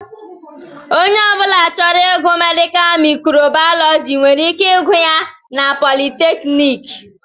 Onye ọbula chọrọ ịgụ Medikal mikro Baalọji nwere ike ịgụ ya na politekniki.